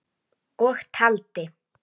Sigtið og hitið ef þarf.